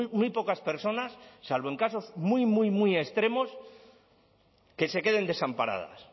muy pocas personas salvo en casos muy muy muy extremos que se queden desamparadas